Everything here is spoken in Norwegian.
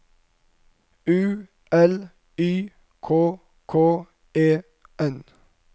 U L Y K K E N